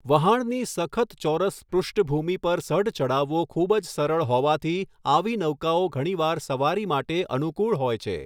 વહાણની સખત ચોરસ પૃષ્ઠભુમી પર સઢ ચઢાવવો ખૂબ જ સરળ હોવાથી, આવી નૌકાઓ ઘણી વાર સવારી માટે અનુકૂળ હોય છે.